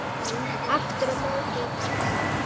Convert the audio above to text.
Aftur á móti í dansi.